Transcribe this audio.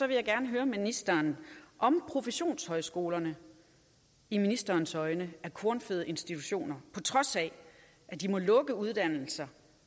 vil jeg gerne høre ministeren om professionshøjskolerne i ministerens øjne er kornfede institutioner på trods af at de må lukke uddannelser